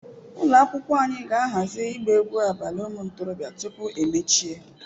Ụlọ akwụkwọ anyị ga-ahazi ịgba egwu abalị ụmụ ntorobịa tupu emechie.